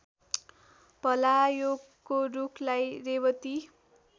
भलायोको रूखलाई रेवती